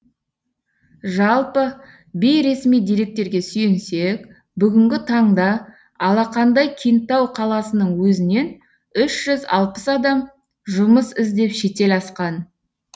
жалпы бейресми деректерге сүйенсек бүгінгі таңда алақандай кентау қаласының өзінен үш жүз алпыс адам жұмыс іздеп шетел асқан